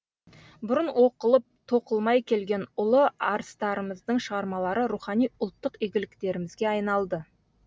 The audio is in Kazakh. бұрын оқылып тоқылмай келген ұлы арыстарымыздың шығармалары рухани ұлттық игліктерімізге айналды